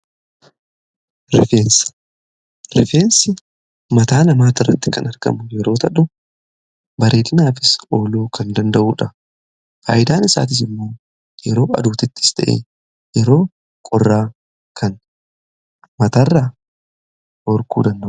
Rifeensi mataa namaati irratti kan argamu yeroo ta'u bareedinaafi ooluu kan danda'uudha. Faayidaan isaatiis immoo yeroo aduutittis ta'ee yeroo qorraa kan mataa irraa dhorkuu danda'udha.